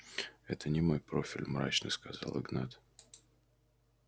это не мой профиль мрачно сказал игнат